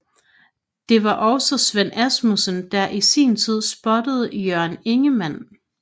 Det var også Svend Asmussen der i sin tid spottede Jørgen Ingmann